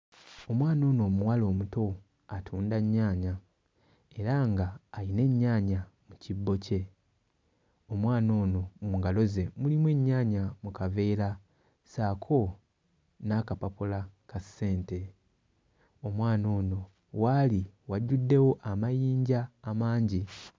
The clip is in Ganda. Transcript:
Omwana ono omuwala omuto atunda nnyaanya era ng'ayina ennyaanya mu kibbo kye. Omwana ono mu ngalo ze mulimu ennyaanya mu kaveera ssaako n'akapapula ka ssente. Omwana on waali wajjuddewo amayinja amangi.